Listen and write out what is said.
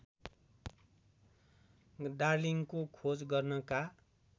डार्लिंङको खोज गर्नका